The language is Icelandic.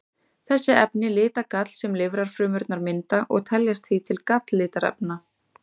Þessi efni lita gall sem lifrarfrumurnar mynda og teljast því til galllitarefna.